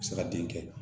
Se ka den kɛ